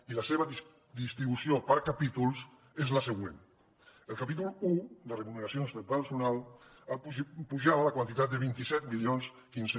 i la seva distribució per capítols és la següent el capítol un de remuneracions del personal pujava la quantitat de vint set mil quinze